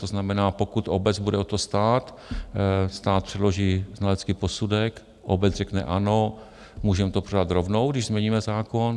To znamená, pokud obec bude o to stát, stát předloží znalecký posudek, obec řekne - ano, můžeme to prodat rovnou, když změníme zákon.